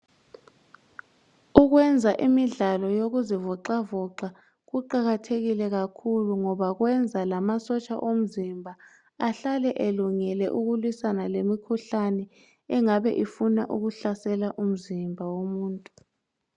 Ukwenza imidlalo yokuzivoxavoxa kuqakathekile kakhulu ngoba kwenza lamasotsha omzimba ahlale elungele ukulwisana lemikhuhlane engabe ifuna ukuhlasela umzimba womuntu.